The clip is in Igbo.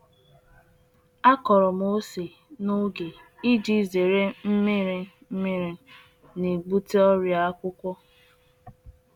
Akọrọ m ose n'oge, iji gbochie ọnọdụ ala imi nnukwu mmiri nke na-ebute ọrịa akwụkwọ.